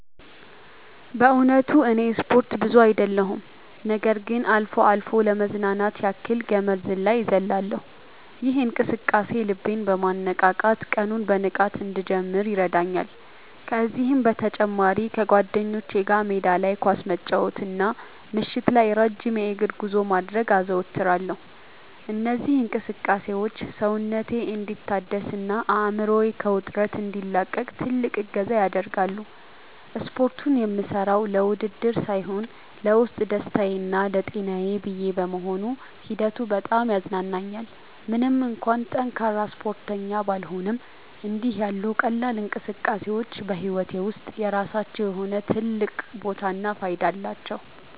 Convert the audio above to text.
በእውነቱ እኔ ስፖርት ብዙ አይደለሁም ነገር ግን አልፎ አልፎ ለመዝናናት ያክል ገመድ ዝላይ እዘልላለሁ። ይህ እንቅስቃሴ ልቤን በማነቃቃት ቀኑን በንቃት እንድጀምር ይረዳኛል። ከዚህም በተጨማሪ ከጓደኞቼ ጋር ሜዳ ላይ ኳስ መጫወትና ምሽት ላይ ረጅም የእግር ጉዞ ማድረግን አዘወትራለሁ። እነዚህ እንቅስቃሴዎች ሰውነቴ እንዲታደስና አእምሮዬ ከውጥረት እንዲላቀቅ ትልቅ እገዛ ያደርጋሉ። ስፖርቱን የምሠራው ለውድድር ሳይሆን ለውስጥ ደስታዬና ለጤናዬ ብዬ በመሆኑ ሂደቱ በጣም ያዝናናኛል። ምንም እንኳን ጠንካራ ስፖርተኛ ባልሆንም፣ እንዲህ ያሉ ቀላል እንቅስቃሴዎች በሕይወቴ ውስጥ የራሳቸው የሆነ ትልቅ ቦታና ፋይዳ አላቸው።